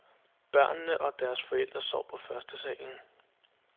Børnene og deres forældre sov på førstesalen.